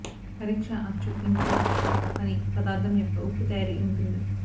పరీక్ష అచ్చు ఇంటిలో పని పదార్థం యొక్క ఉప్పు తయారీ ఉంటుంది